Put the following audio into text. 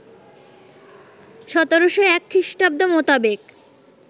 ১৭০১ খ্রিস্টাব্দ মোতাবেক